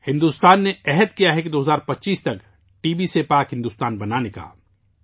بھارت نے عزم کیا ہے 2025 تک ٹی.بی سے آزاد بھارت بنانے کا